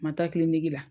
Ma taa la